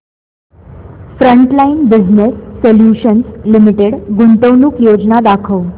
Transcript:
frontline business solutions limited गुंतवणूक योजना दाखव